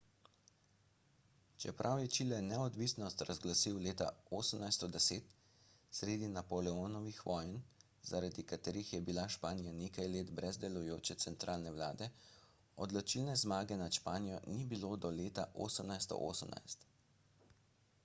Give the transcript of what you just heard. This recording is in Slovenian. čeprav je čile neodvisnost razglasil leta 1810 sredi napoleonovih vojn zaradi katerih je bila španija nekaj let brez delujoče centralne vlade odločilne zmage nad španijo ni bilo do leta 1818